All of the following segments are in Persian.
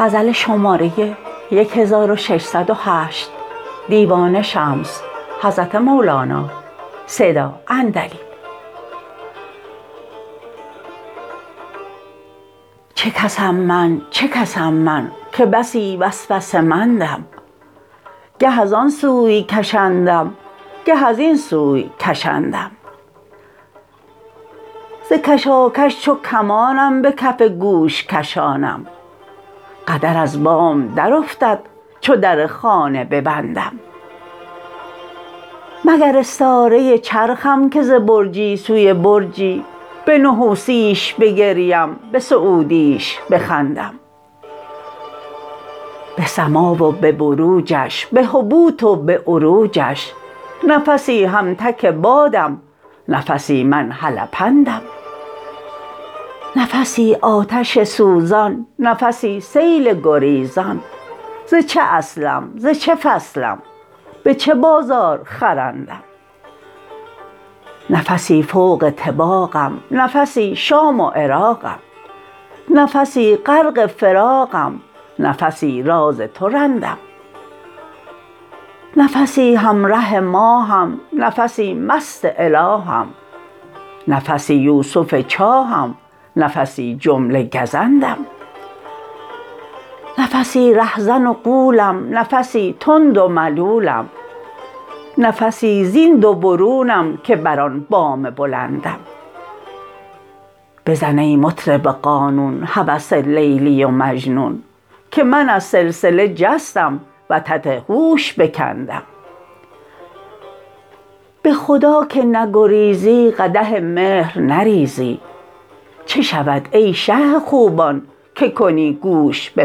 چه کس ام من چه کس ام من که بسی وسوسه مندم گه از آن سوی کشندم گه از این سوی کشندم ز کشاکش چو کمان ام به کف گوش کشانم قدر از بام درافتد چو در خانه ببندم مگر استاره ی چرخم که ز برجی سوی برجی به نحوسی ش بگریم به سعودی ش بخندم به سما و به بروجش به هبوط و به عروجش نفسی هم تک بادم نفسی من هلپندم نفسی آتش سوزان نفسی سیل گریزان ز چه اصلم ز چه فصلم به چه بازار خرندم نفسی فوق طباقم نفسی شام و عراقم نفسی غرق فراقم نفسی راز تو رندم نفسی هم ره ماه م نفسی مست اله م نفسی یوسف چاه م نفسی جمله گزندم نفسی ره زن و غولم نفسی تند و ملولم نفسی زین دو برونم که بر آن بام بلندم بزن ای مطرب قانون هوس لیلی و مجنون که من از سلسله جستم وتد هوش بکندم به خدا که نگریزی قدح مهر نریزی چه شود ای شه خوبان که کنی گوش به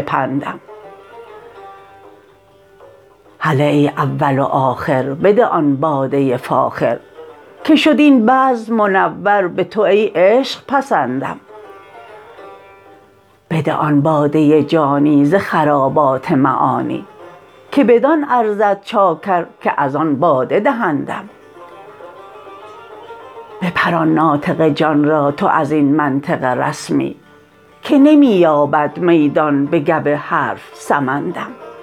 پندم هله ای اول و آخر بده آن باده ی فاخر که شد این بزم منور به تو ای عشق پسندم بده آن باده ی جانی ز خرابات معانی که بدان ارزد چاکر که از آن باده دهندم بپران ناطق جان را تو از این منطق رسمی که نمی یابد میدان بگو حرف سمندم